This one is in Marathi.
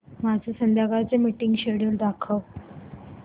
माझे संध्याकाळ चे मीटिंग श्येड्यूल दाखव